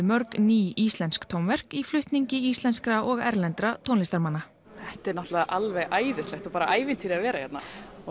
mörg ný íslensk tónverk í flutningi íslenskra og erlendra tónlistarmanna þetta er náttúrlega alveg æðislegt og bara ævintýri að vera hérna